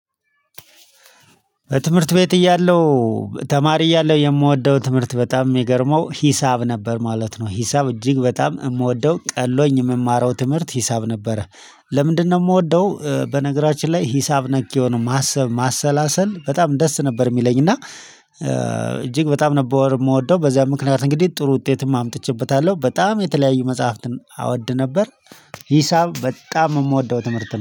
በትምህርት ቤት እያለው ተማሪ እያለው የምወደው ትምህርት በጣም የሚገርመው ሂሳብ ነበር ማለት ነው። ሂሳብ እጅግ በጣም የምወደው ቀሎኝ የምማረው ትምህርት ሂሳብ ነበረ። ለምንድነው? የምወደው በነገራችን ላይ ሂሳብ ነክ የሆነ ማሰብ ማሰላሰል በጣም ደስ ነበር የሚለኝ እና እጅግ በጣም ነበር የምወደው። በዚያ ምክንያት እንግዲህ ጥሩ ውጤትም አምጥቼበታለሁ በጣም የተለያዩ መጽሐፍትን እወድ ነበር። ሂሳብ በጣም የምወደው ትምህርት ነው